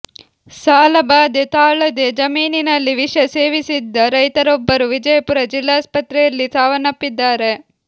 ಸಾಲಬಾಧೆ ತಾಳದೆ ಜಮೀನಿನಲ್ಲಿ ವಿಷ ಸೇವಿಸಿದ್ದ ರೈತರೊಬ್ಬರು ವಿಜಯಪುರ ಜಿಲ್ಲಾಸ್ಪತ್ರೆಯಲ್ಲಿ ಸಾವನಪ್ಪಿದ್ದಾರೆ